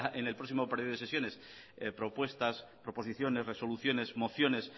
en el próximo periodo de sesiones propuestas proposiciones resoluciones mociones